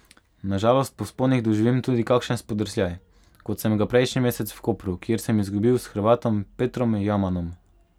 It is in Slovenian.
Na žalost po vzponih doživim tudi kakšen spodrsljaj, kot sem ga prejšnji mesec v Kopru, kjer sem izgubil s Hrvatom Petrom Jamanom.